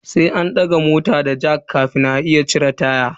Sai an daga mota da jack kafin a iya cire taya.